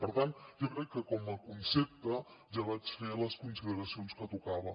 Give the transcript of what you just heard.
per tant jo crec que com a concepte ja vaig fer les consideracions que tocaven